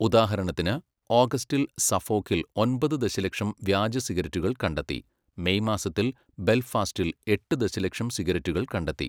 ഉദാഹരണത്തിന്, ഓഗസ്റ്റിൽ സഫോക്കിൽ ഒമ്പത് ദശലക്ഷം വ്യാജ സിഗരറ്റുകൾ കണ്ടെത്തി, മെയ് മാസത്തിൽ ബെൽഫാസ്റ്റിൽ എട്ട് ദശലക്ഷം സിഗരറ്റുകൾ കണ്ടെത്തി.